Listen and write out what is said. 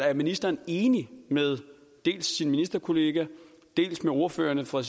er ministeren enig med dels sin ministerkollega dels ordførerne fra